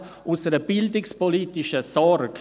– Nämlich aus einer bildungspolitischen Sorge.